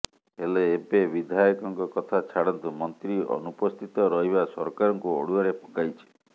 ହେଲେ ଏବେ ବିଧାୟକଙ୍କ କଥା ଛାଡନ୍ତୁ ମନ୍ତ୍ରୀ ଅନୁପସ୍ଥିତ ରହିବା ସରକାରଙ୍କୁ ଅଡୁଆରେ ପକାଇଛି